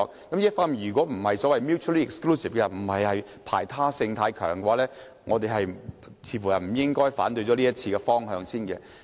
這些方面如果不是排他性太強，我們似乎不應該反對這項修訂規例的方向。